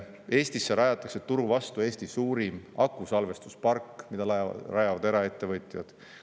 Eestisse rajatakse Eesti suurim akusalvestuspark, mida rajavad eraettevõtjad.